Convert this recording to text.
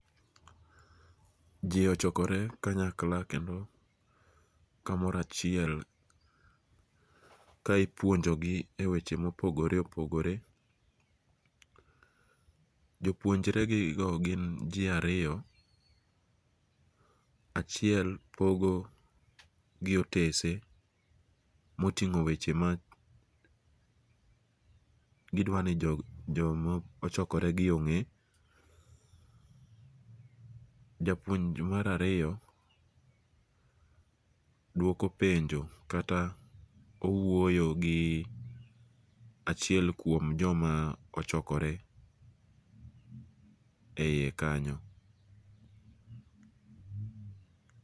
Ji ochokore kanyakla kendo kamorachiel ka ipuonjogi weche mopogore opogore, jopuonjregigo gin ji ariyo, achiel pogogi otese motingo weche ma gidwani jomochokoregi onge', japuonj marariyo dwoko penjo kata owuoyo gi achiel kuom, joma ochokore e hiye kanyo.